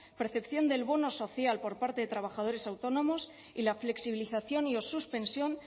percepción del bono social por parte de trabajadores autónomos y la flexibilización y o suspensión